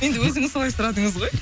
енді өзіңіз солай сұрадыңыз ғой